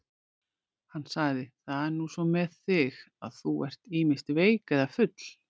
Hann sagði: Það er nú svo með þig, að þú ert ýmist veik eða full.